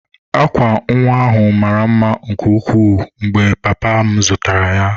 Akwa nwa ahụ mara mma nke ukwuu mgbe papa m zụtara ya.